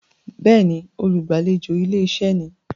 Béèni, olùgbàlejò ilé-iṣẹ́ ni.